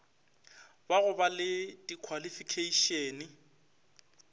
ba go ba le dikhwalifikheišene